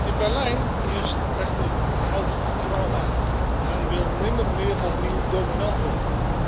In Berlijn heerst echter een oud trauma men wil nimmer meer opnieuw dominant worden.